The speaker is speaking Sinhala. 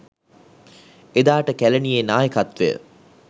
එදාට කැලණියේ නායකත්වය